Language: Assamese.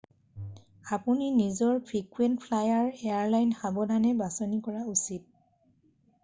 আপুনি নিজৰ ফ্ৰিকুৱেণ্ট ফ্লায়াৰ এয়াৰলাইন সাৱধানে বাচনি কৰা উচিত